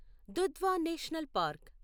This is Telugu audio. Dudhwa national park